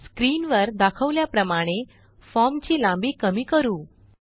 स्क्रीनवर दाखवल्याप्रमाणे फॉर्म ची लांबी कमी करू